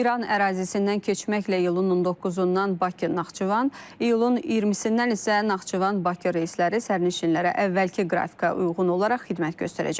İran ərazisindən keçməklə iyulun 19-dan Bakı Naxçıvan, iyulun 20-dən isə Naxçıvan Bakı reysləri sərnişinlərə əvvəlki qrafikə uyğun olaraq xidmət göstərəcək.